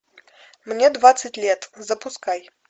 мне двадцать лет запускай